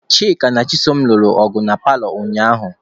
Chika na Chisom lụrụ ọgụ na paalọ ụnyaahụ.